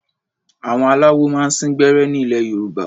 Àwọn aláwo máa ń sín gbẹ́rẹ́ ní ilẹ̀ Yorùbá.